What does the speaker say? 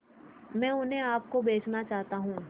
मैं उन्हें आप को बेचना चाहता हूं